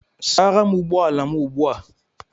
Sara m ụgbọ ala m ugbu a!